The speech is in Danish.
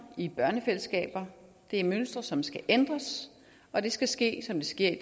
i børnefællesskaber det er mønstre som skal ændres og det skal ske som det sker i